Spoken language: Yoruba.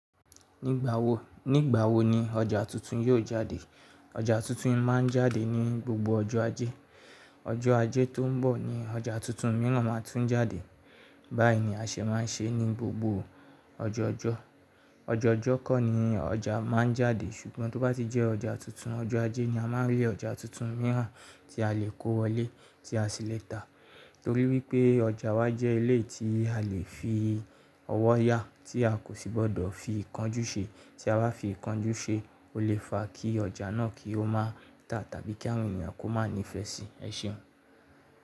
Nígbà wo, nígbà wo ni ọjà tuntun yóò jáde? Ọjà tuntun máa ń jáde ní gbogbo ọjọ́ ajé. Ọjọ́ ajé tó ń bọ̀ ni ọjà tuntun mìíràn máa tún jáde. Báyìí ni àṣẹ máa ń ṣe ní gbogbo ọjọ́ ọjọ́. Ọjọ́ ọjọ́ kọ̀ ni ọjà máa ń jáde ṣùgbọ́n tó bá ti jẹ́ ọjà tuntun, ọjọ́ ajé ni a máa rí ọjà tuntun mìíràn tí a lè kó wọlé, tí a sì lè ta. Nítorí wípé ọjà wa jẹ́ ilé tí a lè fi ọwọ́ yá tí a kò sì gbọdọ̀ fi ìkánjú ṣe. Tí a bá fi ìkánjú ṣe, ó lè fa kí ọjà náà kí ó má ta tàbí kí àwọn ènìyàn kó má ní ìfẹ́ sí i. Ẹ ṣeun.